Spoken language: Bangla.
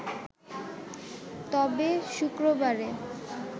তবে, শুক্রবারে